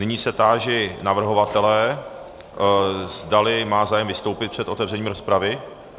Nyní se táži navrhovatele, zdali má zájem vystoupit před otevřením rozpravy.